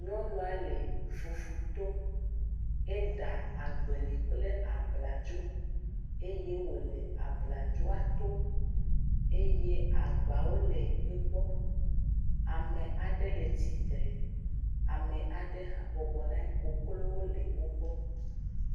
Nyɔnua le fufu too, eɖa agbali kple bladzo eye wole abladzoa tom eye agbawo le egbɔ. Ame aɖe le tsitre, ame aɖe hã bɔbɔ nɔ anyi. Koklowo le wo gbɔ.